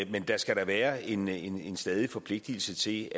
men der skal da være en en stadig forpligtelse til